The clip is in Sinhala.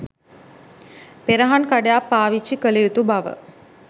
පෙරහන් කඩයක් පාවිච්චි කළ යුතු බව